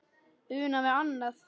Una við annað.